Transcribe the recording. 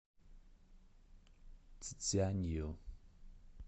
цзянъю